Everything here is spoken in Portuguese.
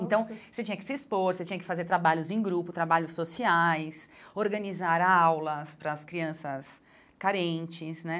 Então, você tinha que se expor, você tinha que fazer trabalhos em grupo, trabalhos sociais, organizar aulas para as crianças carentes, né?